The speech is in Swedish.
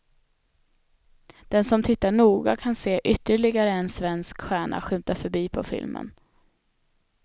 Den som tittar noga kan se ytterligare en svensk stjärna skymta förbi på filmen.